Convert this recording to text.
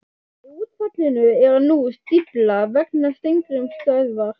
Í útfallinu er nú stífla vegna Steingrímsstöðvar.